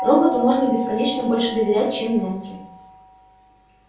роботу можно бесконечно больше доверять чем няньке